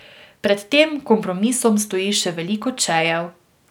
Pred tem kompromisom stoji še veliko čejev.